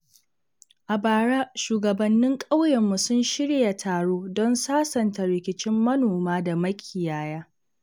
A bara, shugabannin ƙauyenmu sun shirya taro don sasanta rikicin manoma da makiyaya.